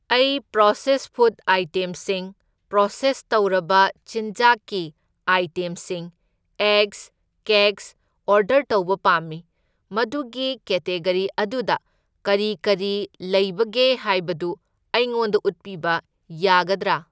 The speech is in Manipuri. ꯑꯩ ꯄ꯭ꯔꯣꯁꯦꯁ ꯐꯨꯗ ꯑꯥꯏꯇꯦꯝꯁꯤꯡ, ꯄ꯭ꯔꯣꯁꯦꯁ ꯇꯧꯔꯕ ꯆꯤꯟꯖꯥꯛꯀꯤ ꯑꯥꯏꯇꯦꯝꯁꯤꯡ, ꯑꯦꯒꯁ, ꯀꯦꯛꯁ ꯑꯣꯔꯗꯔ ꯇꯧꯕ ꯄꯥꯝꯃꯤ, ꯃꯗꯨꯒꯤ ꯀꯦꯇꯦꯒꯔꯤ ꯑꯗꯨꯗ ꯀꯔꯤ ꯀꯔꯤ ꯂꯩꯕꯒꯦ ꯍꯥꯏꯕꯗꯨ ꯑꯩꯉꯣꯟꯗ ꯎꯠꯄꯤꯕ ꯌꯥꯒꯗ꯭ꯔꯥ?